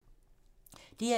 DR1